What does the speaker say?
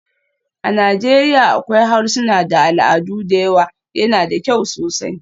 A Najeriya akwai harsuna da al'adu da yawa, yana da kyau sosai.